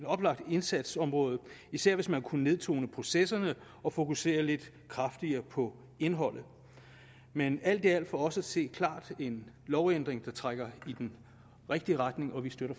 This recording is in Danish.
oplagt indsatsområde især hvis man kunne nedtone processerne og fokusere lidt kraftigere på indholdet men alt i alt for os at se klart en lovændring der trækker i den rigtige retning og vi støtter